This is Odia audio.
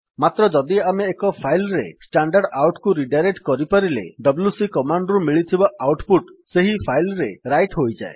ମାତ୍ର ଯଦି ଆମେ ଏକ ଫାଇଲ୍ ରେ standardoutକୁ ରିଡାଇରେକ୍ଟ୍ କରିପାରିଲେ ଡବ୍ଲ୍ୟୁସି କମାଣ୍ଡ୍ ରୁ ମିଳିଥିବା ଆଉଟ୍ ପୁଟ୍ ସେହି ଫାଇଲ୍ ରେ ରାଇଟ୍ ହୋଇଯାଏ